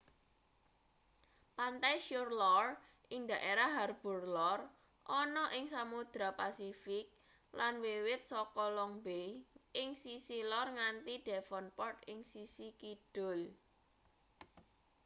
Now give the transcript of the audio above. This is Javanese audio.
pantai shore lor ing daefrah harbour lor ana ing samodra pasifik lan wiwit saka long bay ing sisih lor nganti devonport ing sisih kidul